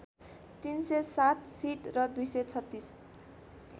३०७ seat र २३६